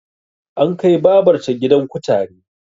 An kai babar ta gidan kutare